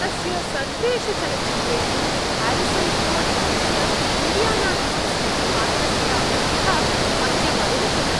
तस्य सर्वेषु चलच्चित्रेषु ह्यारिसन् फोर्ड् इत्यस्य इण्डियाना जोन्स् इति पात्रस्य अभिनयः मह्यम् अरोचत।